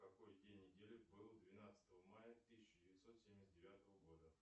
какой день недели был двенадцатого мая тысяча девятьсот семьдесят девятого года